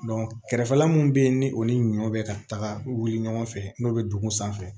kɛrɛfɛla mun bɛ yen ni o ni ɲɔ bɛ ka taga wuli ɲɔgɔn fɛ n'o bɛ dugu sanfɛ